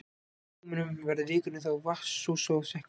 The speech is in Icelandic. Með tímanum verður vikurinn þó vatnsósa og sekkur.